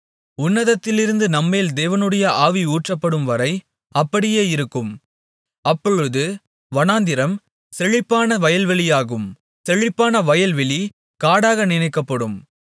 உன்னதத்திலிருந்து நம்மேல் தேவனுடைய ஆவி ஊற்றப்படும்வரை அப்படியே இருக்கும் அப்பொழுது வனாந்திரம் செழிப்பான வயல்வெளியாகும் செழிப்பான வயல்வெளி காடாக நினைக்கப்படும்